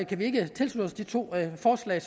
kan vi ikke tilslutte os de to forslag